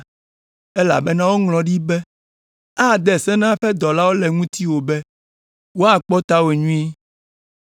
Elabena woŋlɔ ɖi be, “ ‘Ade se na eƒe dɔlawo le ŋutiwò be woakpɔ tawò nyuie